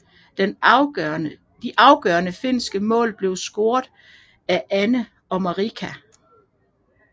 De afgørende finske mål blev scoret af Anne Haanpää og Marika Lehtimäki